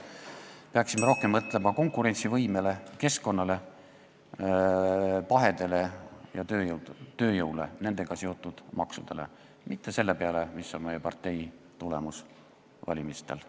Peaksime rohkem mõtlema konkurentsivõimele, keskkonnale, pahedele ja tööjõule ning nendega seotud maksudele, mitte selle peale, mis on partei tulemus valimistel.